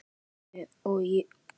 Og ég á hæla þeirra.